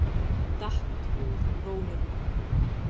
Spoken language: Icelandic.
Datt úr rólunum.